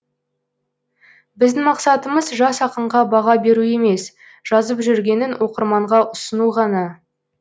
біздің мақсатымыз жас ақынға баға беру емес жазып жүргенін оқырманға ұсыну ғана